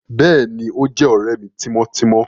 Béèni, o jé òré mí timọtimọ